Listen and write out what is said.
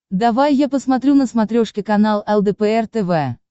давай я посмотрю на смотрешке канал лдпр тв